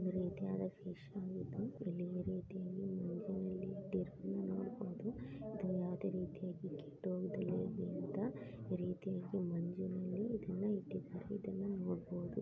ಒಂದು ರೀತಿಯಾದ ಫಿಶ್ ಆಗಿದ್ದು ಇಲ್ಲಿ ಈ ರೀತಿಯಾಗಿ ಮಂಜಿನಲ್ಲಿ ಇಟ್ಟಿರೋದನ್ನು ನೋಡಬಹುದು ಅದೇ ಯಾವದೋ ರೀತಿಯಾಗಿ ಕೆಟ್ಟೋಗದೆ ಇರಲಿ ಅಂತ ಮಂಜಿನಲ್ಲಿ ಈ ರೀತಿಯಾಗಿ ಇದನ್ನ ಇಟ್ಟಿದ್ದಾರೆ ಇದನ್ನ ನೋಡಬಹುದು.